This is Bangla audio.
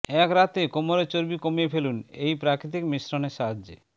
এক রাত্রে কোমরের চর্বি কমিয়ে ফেলুন এই প্রাকৃতিক মিশ্রণের সাহায্যে